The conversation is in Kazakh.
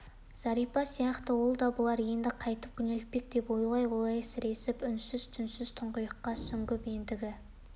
зәрипа сияқты ол да бұлар енді қайтіп күнелтпек деп ойлай ойлай сіресіп үнсіз-түнсіз тұңғиыққа сүңгіп ендігі